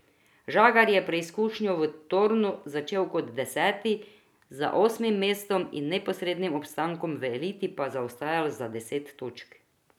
Žagar je preizkušnjo v Torunu začel kot deseti, za osmim mestom in neposrednim obstankom v eliti pa zaostajal za deset točk.